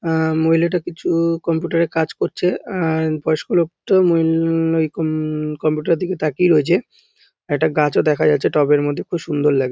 আহ মহিলাটা প্রচুর কম্পিউটার -এ কাজ করছে আহ বয়স্ক লোকটা অম অম কম্পিউটার -এর দিকে তাকিয়ে রয়েছে একটা গাছও দেখা যাচ্ছে টবের মধ্যে খুব সুন্দর লাগছে।